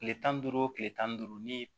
Kile tan ni duuru wo kile tan ni duuru ni